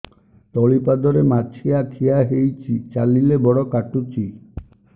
ତଳିପାଦରେ ମାଛିଆ ଖିଆ ହେଇଚି ଚାଲିଲେ ବଡ଼ କାଟୁଚି